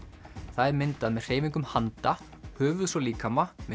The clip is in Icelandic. það er myndað með hreyfingum handa höfuðs og líkama með